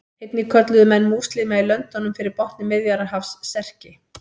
Einnig kölluðu menn múslíma í löndunum fyrir botni Miðjarðarhafs Serki.